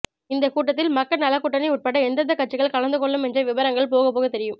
இந்த கூட்டத்தில் மக்கள் நலக்கூட்டணி உள்பட எந்தெந்த கட்சிகள் கலந்து கொள்ளும் என்ற விபரங்கள் போக போக தெரியும்